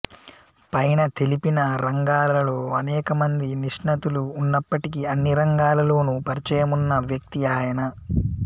పైన తెలిపిన రంగాలలో అనేక మంది నిష్ణాతులు ఉన్నప్పటికీ అన్ని రంగాలలోను పరిచయమున్న వ్యక్తి ఆయన